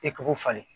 E k'o falen